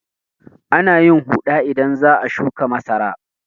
Ana yin huɗa idan za a shuƙa masara.